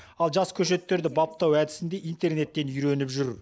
ал жас көшеттерді баптау әдісін де интернеттен үйреніп жүр